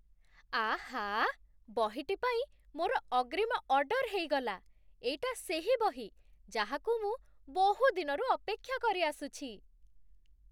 ଆଃ! ବହିଟି ପାଇଁ ମୋର ଅଗ୍ରିମ ଅର୍ଡର ହେଇଗଲା। ଏଇଟା ସେହି ବହି ଯାହାକୁ ମୁଁ ବହୁଦିନରୁ ଅପେକ୍ଷା କରିଆସୁଛି।